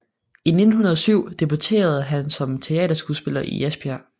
I 1907 debuterede han som teaterskuespiller i Esbjerg